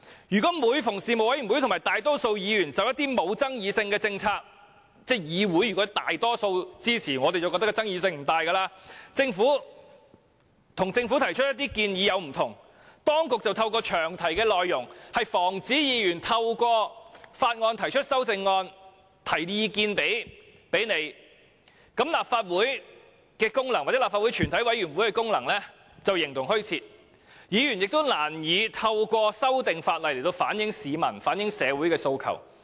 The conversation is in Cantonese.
如果每次事務委員會和大多數議員就一些沒有爭議性的政策——當議會內大多數議員均表示支持，我們便認為其爭議性不大——提出與政府有所不同的建議時，當局便透過詳題的內容，防止議員藉提出修正案來表達意見，這樣立法會或全委會的功能便形同虛設，議員亦將難以透過修訂法例反映市民和社會的訴求。